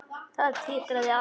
Það titraði allt og skalf.